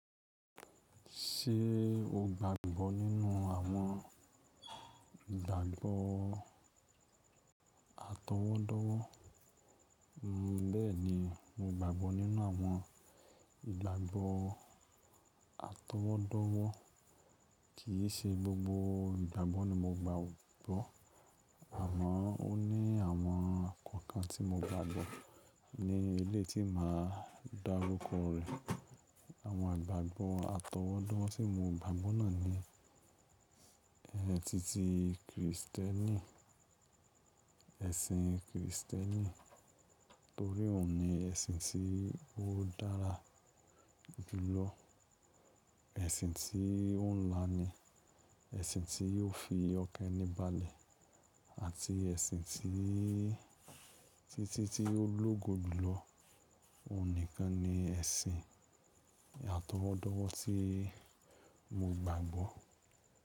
Ṣé o gbàgbọ́ nínú àwọn ìgbàgbọ́ atọwọ́dọ́wọ́? Bẹ́ẹ̀ni, mo gbàgbọ́ nínú àwọn ìgbàgbọ́ atọwọ́dọ́wọ́. Kì í ṣe gbogbo ìgbàgbọ́ ni mo gbàgbọ́. Àmọ́ ó ní àwọn kankan tí mo gbàgbọ́ ní ilé tí màá dárúkọ rẹ̀. Àwọn ìgbàgbọ́ atọwọ́dọ́wọ́ tí mo gbàgbọ́ náà ni, tí tí Kristẹni, ẹ̀sìn Kristẹni, torí òun ni ẹ̀sìn tí ó dára jùlọ, ẹ̀sìn tí ó ń la ni, ẹ̀sìn tí yóò fi ọkẹ́ ení balẹ̀ àti ẹ̀sìn tí ó lógo jùlọ. Òun nìkan ni ẹ̀sìn atọwọ́dọ́wọ́ tí mo gbàgbọ́